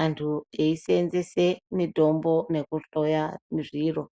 antu eyi senzese mitombo neku hloya zviro.